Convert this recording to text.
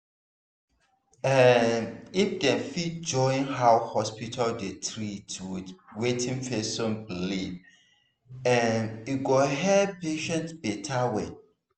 ehnnn if dem fit join how hospital dey treat with wetin person believe[um]e go help patient beta well